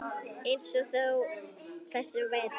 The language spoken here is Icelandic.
Eins og á þessum vetri.